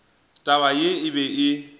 taba ye e be e